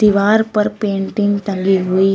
दीवार पर पेंटिंग टंगी हुई है।